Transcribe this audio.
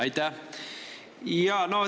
Aitäh!